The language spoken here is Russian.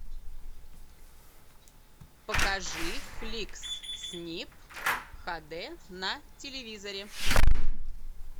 покажи фликс снип ха дэ на телевизоре